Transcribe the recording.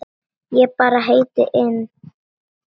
Ég bara leit inn.